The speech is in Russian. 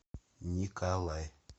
николай